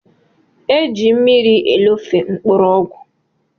Eji mmiri elofe mkpụrụ ọgwụ.